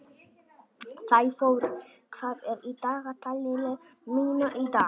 Sæþór, hvað er í dagatalinu mínu í dag?